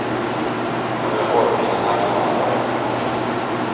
Några hårfina marginaler var det knappast.